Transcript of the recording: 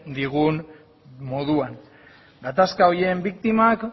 digun moduan gatazka horien biktimak